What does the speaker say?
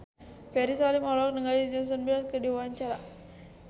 Ferry Salim olohok ningali Jason Mraz keur diwawancara